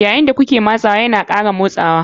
Yayin da kuke matsawa yana ƙara motsawa.